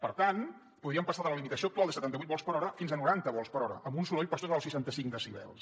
per tant podríem passar de la limitació actual de setanta vuit vols per hora fins a noranta vols per hora amb un soroll per sota dels seixanta cinc decibels